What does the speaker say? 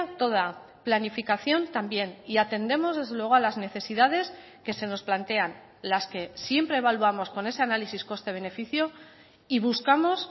toda planificación también y atendemos desde luego a las necesidades que se nos plantean las que siempre evaluamos con ese análisis coste beneficio y buscamos